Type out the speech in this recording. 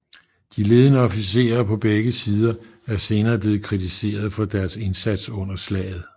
De ledende officerer på begge sider er senere blevet kritiseret for deres indsats under slaget